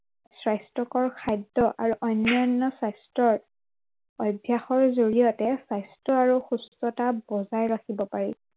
স্বাস্থ্য়কৰ খাদ্য় আৰু অন্য়ান্য় স্বাস্থ্য়ৰ, অভ্য়াসৰ জড়িয়তে স্বাস্থ্য় আৰু সুস্থতা বজাই ৰাখিব পাৰি।